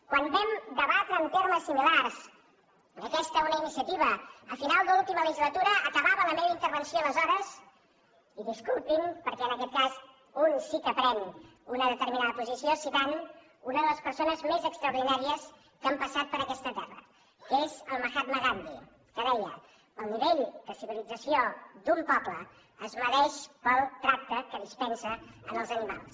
quan vam debatre en termes similars a aquesta una iniciativa a final de l’última legislatura acabava la meva intervenció aleshores i disculpin perquè en aquest cas un sí que pren una determinada posició citant una de les persones més extraordinàries que han passat per aquesta terra que és el mahatma gandhi que deia el nivell de civilització d’un poble es mesura pel tracte que dispensa als animals